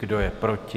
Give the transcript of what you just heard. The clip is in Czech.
Kdo je proti?